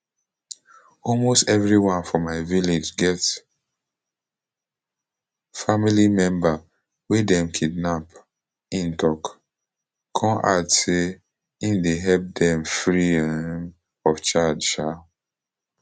almost evri one for my village get family member wey dem kidnap im tok kon add say im dey help dem free um of charge um